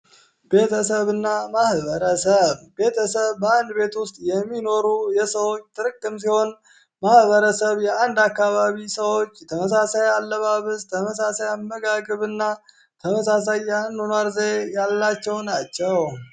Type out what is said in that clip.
ቤተሰብ እና ማህበረ ሰብ ቤተሰብ በአንድ ቤት ውስጥ የሚኖሩ የሰዎች ትርክም ሲሆን ማህበረሰብ የአንድ አካባቢ ሰዎች ተመሳሳይ አለባብዝጥ ተመሳሳይ አመጋግብ እና ተመሳሳይ ያንኗርዘ ያላቸው ናቸው፡፡